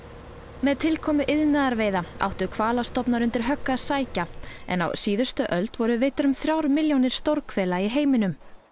með tilkomu áttu hvalastofnar undir högg að sækja en á síðustu öld voru veiddar um þrjár milljónir stórhvela í heiminum